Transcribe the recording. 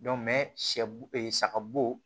sɛ bo ee saga bo